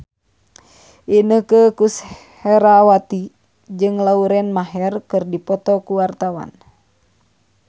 Inneke Koesherawati jeung Lauren Maher keur dipoto ku wartawan